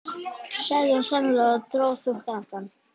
sagði hún seinlega og dró þungt andann.